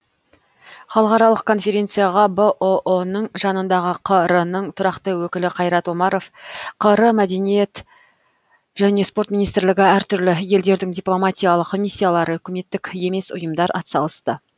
халықаралық конференцияға бұұ ның жанындағы қр ның тұрақты өкілі қайрат омаров қр мәдениет және спорт министрлігі әр түрлі елдердің дипломатиялық миссиялары үкіметтік емес ұйымдар атсалысты